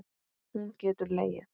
Hún getur legið.